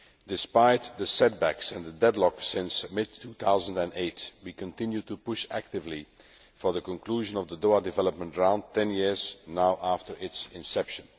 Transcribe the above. Despite the setbacks and the deadlock since mid 2008, we continue to push actively for the conclusion of the Doha development round, 10 years now after its inception.